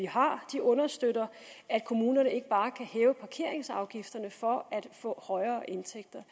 har understøtter at kommunerne ikke bare kan hæve parkeringsafgifterne for at få højere indtægter